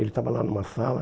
Ele estava lá numa sala.